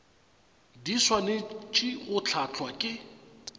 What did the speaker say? di swanetše go hlahlwa ke